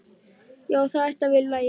Já, það ætti að vera í lagi.